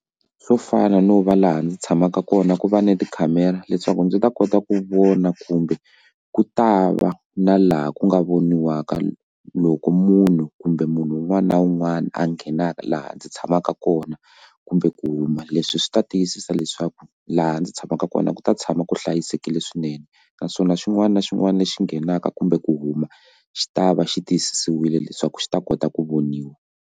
Swo fana no va laha ndzi tshamaka kona ku va na tikhamera leswaku ndzi ta kota ku vona kumbe ku ta va na laha ku nga voniwaka loko munhu kumbe munhu un'wana na un'wana a nghenaka laha ndzi tshamaka kona kumbe ku huma leswi swi ta tiyisisa leswaku laha ndzi tshamaka kona ku ta tshama ku hlayisekile swinene naswona xin'wana na xin'wana lexi nghenaka kumbe ku huma xi ta va xi tiyisisiwile leswaku xi ta kota ku voniwa.